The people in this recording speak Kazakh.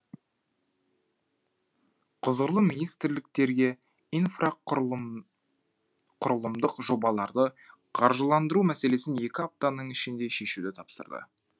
құзырлы министрліктерге инфрақұрылымдық жобаларды қаржыландыру мәселесін екі аптаның ішінде шешуді тапсырды